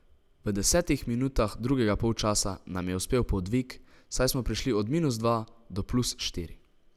V desetih minutah drugega polčasa nam je uspel podvig, saj smo prišli od minus dva do plus štiri.